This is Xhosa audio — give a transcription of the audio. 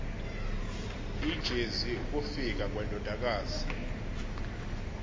ijezi ukufika kwendodakazi